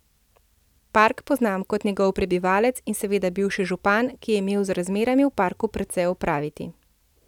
Park poznam kot njegov prebivalec in seveda bivši župan, ki je imel z razmerami v parku precej opraviti.